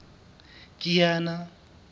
kiana